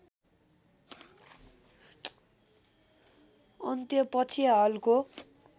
अन्त्य पछि हालको